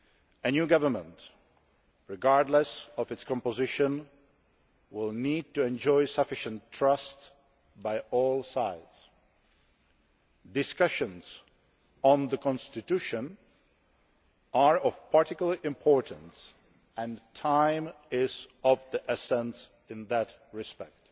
A new government, regardless of its composition, will need to enjoy sufficient trust from all sides discussions on the constitution are of particular importance, and time is of the essence in that respect.